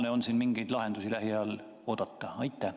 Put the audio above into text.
Kas on siin mingeid lahendusi lähiajal oodata?